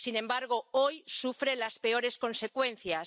Sin embargo, hoy sufre las peores consecuencias.